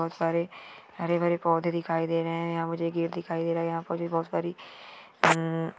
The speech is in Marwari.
बहुत सारे हरे भरे पोधे दिखाय दे रहे है यहाँ मुझे एक गेट दिखायी दे रहा है यहाँ पे बहुत सारी हम --